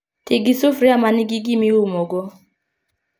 Tii gi sufuria manigi gimi umo go